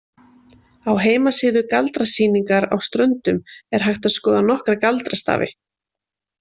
Á heimasíðu Galdrasýningar á Ströndum er hægt að skoða nokkra galdrastafi.